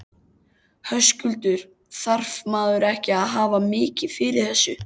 Höskuldur: Þarf maður ekki að hafa mikið fyrir þessu?